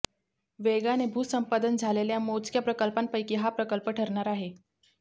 वेगाने भूसंपादन झालेल्या मोजक्या प्रकल्पांपैकी हा प्रकल्प ठरणार आहे